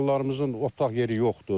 Mallarımızın otlaq yeri yoxdur.